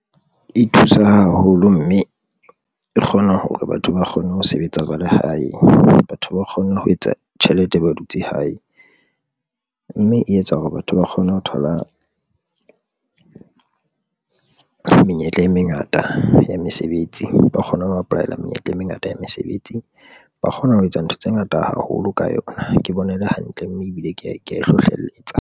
E thusa haholo mme e kgona hore batho ba kgone ho sebetsa ba lehae, batho ba kgonne ho etsa tjhelete, ba dutse hae mme e etsa hore batho ba kgone ho thola menyetla e mengata ya mesebetsi ba kgona ho apply-ela menyetla e mengata ya mesebetsi ba kgona ho etsa ntho tse ngata haholo ka yona. Ke bona e le hantle mme ebile ke ya e hlohlelletsa.